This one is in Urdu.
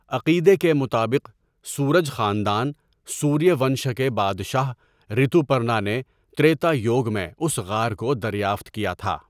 عقیدے کے مطابق، سورج خاندان سوریہ ونشا کے بادشاہ ریتوپرنا نے تریتا یوگ میں اس غار کو دریافت کیا تھا.